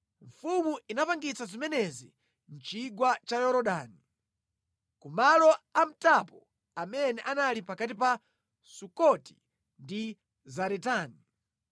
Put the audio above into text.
Mfumu inapangitsa zimenezi mʼchigwa cha Yorodani, ku malo amtapo amene anali pakati pa Sukoti ndi Zaretani.